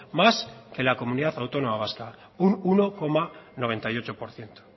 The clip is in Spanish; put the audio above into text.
más que la comunidad autónoma vasca un uno coma noventa y ocho por ciento